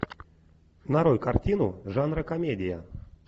нарой картину жанра комедия